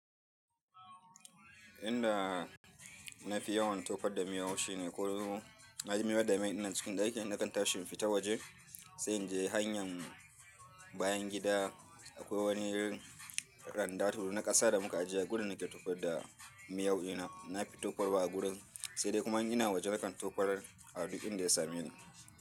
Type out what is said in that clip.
Inda na fi yawan tofar da miyau shine ko na je miyar da maini na cikin ɗakin da kanta shinfita waje sai in je hanyar bayan gida akwai wani randa to na ƙasa da muka ajiye a gurin nake tofar da miyau ina nafi tofarwa a gurin sai dai kuma ina waje kanta tofar a duk in da ya same ni.